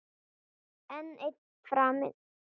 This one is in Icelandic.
Enn ein firran.